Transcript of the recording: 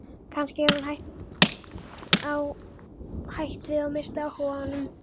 Kannski hefur hún hætt við og misst áhuga á honum.